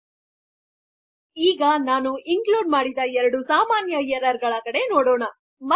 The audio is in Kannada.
ಪ್ರಸ್ತುತದಲ್ಲಿ ನಾನು ಇನ್ಕ್ಲೂಡ್ ಮಾಡಿದ ಎರಡು ಸಾಮಾನ್ಯ ಎರ್ರರ್ಗಳ ಕಡೆ ನೋಡುತ್ತಿನಿ